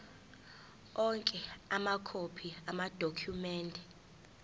onke amakhophi amadokhumende